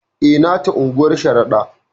E, nata unguwar Sharaɗa.